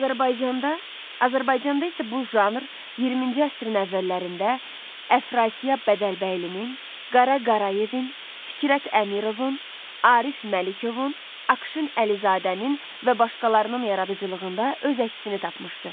Azərbaycanda, Azərbaycanda isə bu janr 20-ci əsrin əvvəllərində Əfrasiyab Bədəlbəylinin, Qara Qarayevin, Fikrət Əmirovun, Arif Məlikovun, Akşın Əlizadənin və başqalarının yaradıcılığında öz əksini tapmışdı.